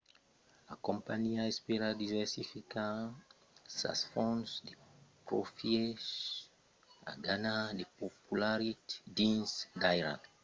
la companhiá espèra diversificar sas fonts de profièches e ganhar de popularitat dins d'airals ont skype a una posicion fòrta coma en china euròpa de l'èst e brasil